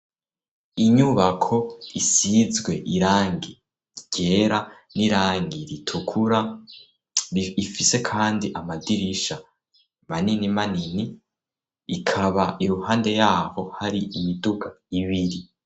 Inyubako isizwe irangi ryera n'irangi ritukura. Ifise kandi amadirisha manini manini, ikaba iruhande y'aho hari imiduga ibiri.